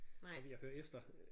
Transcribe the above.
Så vil jeg høre efter